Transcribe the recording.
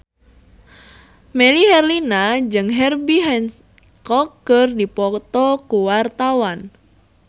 Melly Herlina jeung Herbie Hancock keur dipoto ku wartawan